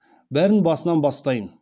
бәрін басынан бастайын